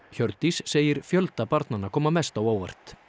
Hjördís segir fjölda barnanna koma mest á óvart